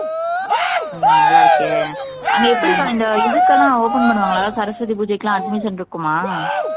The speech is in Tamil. ஆஹ் நல்லா இருக்கே அங்க எப்படி அக்கா இந்த இதுக்கெல்லாம் open பண்ணுவாங்களா சரஸ்வதி பூஜைக்கெல்லாம் admission இருக்குமா